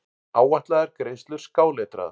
Áætlaðar greiðslur skáletraðar.